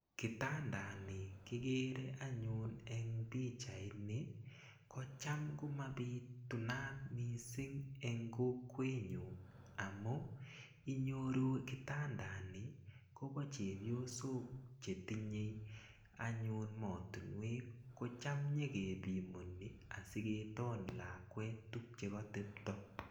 Kitandani kikere anyun eng pichait ni ko cham komabitunat missing eng kokwetnyu amu inyoru kitandani kobo chepyosok chetinyei anyun motunwek ko cham nyekepimoni asiketon lakwet tukche katepto.